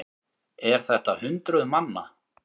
Er þetta hundruð manna?